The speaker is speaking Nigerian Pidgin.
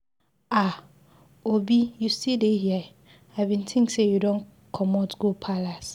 Aah! Obi you still dey here, I bin think you do comot go palace.